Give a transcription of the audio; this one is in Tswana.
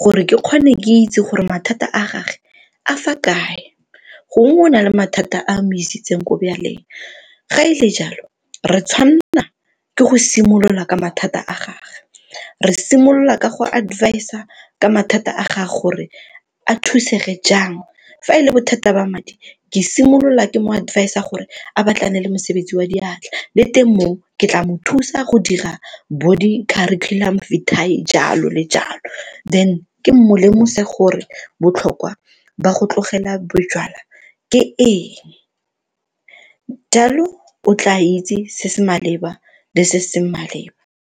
gore ke kgone ke itse gore mathata a gage a fa kae? Gongwe o na le mathata a a mo isitseng ko jwaleng, ga e le jalo re tshwanna ke go simolola ka mathata a gage re simolola ka go advisor ka mathata a gage gore a thusege jang, fa e le bothata ba madi ke simolola ke mo advisor gore a batlane le mosebetsi wa diatla le teng mo ke tla mo thusa go dira bo di-Curriculum Vitae jalo le jalo, then ke mo lemose gore botlhokwa ba go tlogela bojalwa ke eng, jalo o tla itse se se maleba le se se seng maleba.